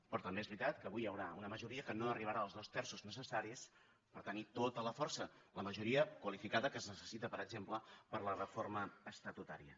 però també és veritat que avui hi haurà una majoria que no arribarà als dos terços necessaris per tenir tota la força la majoria qualificada que es necessita per exemple per a la reforma estatutària